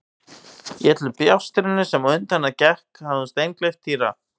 Í öllu bjástrinu sem á undan gekk hafði hún steingleymt Týra.